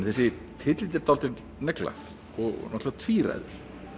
þessi titill er dálítil negla og náttúrulega tvíræður